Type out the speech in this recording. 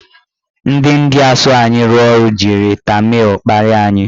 Ndị India so anyị rụọ ọrụ jiri tamịl kparia anyị.